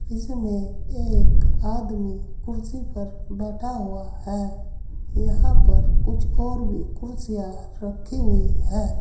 इसमें एक आदमी कुर्सी पर बैठा हुआ है। यहां पर कुछ और भी कुर्सियां रखी हुई हैं।